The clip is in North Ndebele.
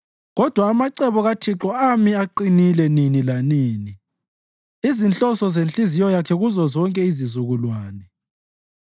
Kodwa amacebo kaThixo ami aqinile nini lanini, izinhloso zenhliziyo yakhe kuzozonke izizukulwane.